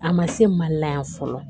A ma se mali la yan fɔlɔ